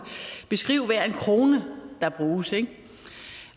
beskrive hver en krone der bruges ikke